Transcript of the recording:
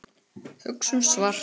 Hugsum svart.